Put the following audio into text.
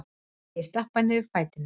Ég stappa niður fætinum.